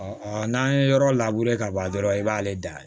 n'an ye yɔrɔ ka ban dɔrɔn i b'ale da